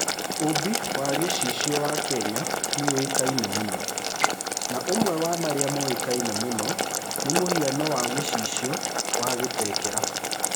Ũũmbi wa gĩcicio wa Kenya nĩ ũĩkaine mũno, na ũmwe wa marĩa moĩkaine mũno nĩ mũhiano wa gĩcicio wa Kitengela.